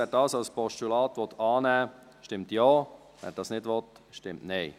Wer diesen als Postulat annehmen will, stimmt Ja, wer dies nicht will, stimmt Nein.